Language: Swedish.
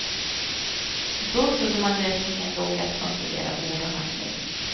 Då trodde man lösningen låg i att kontrollera ord och handling.